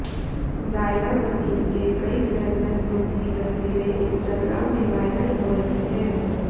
ज़ायरा वसीम के कई glamorous look की तस्वीरें इंस्ट्राग्राम में वायरल हो रही है